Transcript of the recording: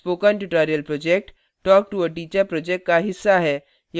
spoken tutorial project talktoa teacher project का हिस्सा है